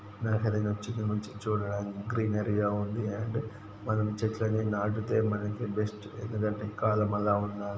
నాకది నచ్చింది. వచ్చి చూడడానికి గ్రీనరీ గ ఉంది అండ్ మనం చెట్లని నాటితే మనకి బెస్ట్ ఎందుకంటే కలం అలా ఉన--